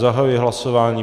Zahajuji hlasování.